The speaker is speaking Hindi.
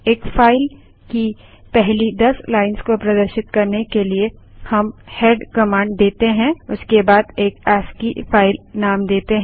एक फाइल की पहली 10 लाइन्स को प्रदर्शित करने के लिए हम हेड कमांड देते हैं उसके बाद एक अस्की फाइल नेम देते हैं